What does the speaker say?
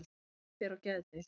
Eva fer á geðdeild.